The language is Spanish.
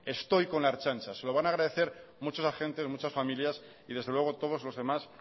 estoy con la ertzaintza se lo van a agradecer muchos agentes muchas familias y desde luego todos los demás